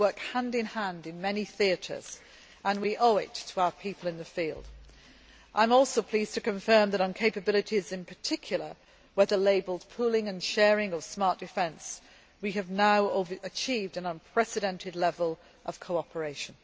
We work hand in hand in many theatres, and we owe it to our people in the field. I am also pleased to confirm that on capabilities in particular whether labelled pooling and sharing or smart defence we have now achieved an unprecedented level of cooperation.